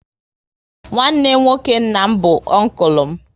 Nwanne nwoke nna m bụ unkulu m